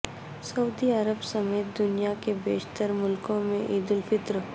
سعودی عرب سمیت دنیا کے بیشتر ملکوں میں عیدالفطر